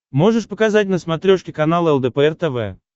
можешь показать на смотрешке канал лдпр тв